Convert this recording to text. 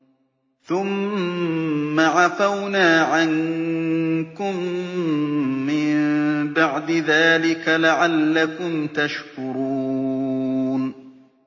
ثُمَّ عَفَوْنَا عَنكُم مِّن بَعْدِ ذَٰلِكَ لَعَلَّكُمْ تَشْكُرُونَ